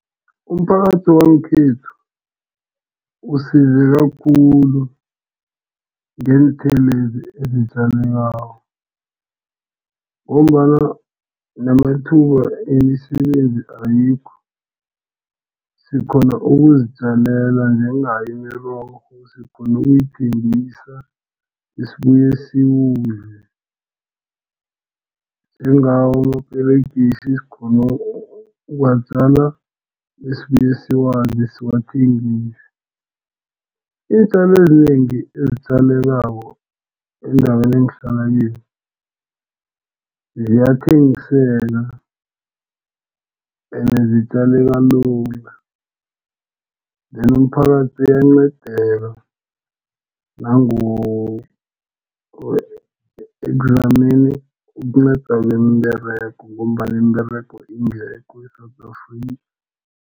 Umphakathi wangekhethu usizeka khulu ngeenthelwezi ezitjaliwako ngombana namathuba wemisebenzi ayikho sikghona ukuzitjalela njengayo imirorho sikghona ukuyithengisa sibuye siyidle njengawo amaperegisi, sikghona ukuwatjala, besibuye siwadle, siwathengise. Iintjalo ezinengi ezitjalekako endaweni engihlala kiyo ziyathengiseka ene zitjaleka lula. The umphakathi uyancedeka ekuzameni ukunceda neemberego ngombana iimberego ingekho eSewula Afrika.